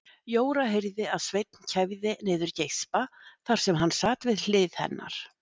Jóra heyrði að Sveinn kæfði niður geispa þar sem hann sat við hlið hennar.